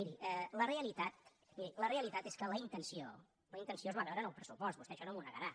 miri la realitat és que la intenció la intenció es va veure en el pressupost vostè això no m’ho negarà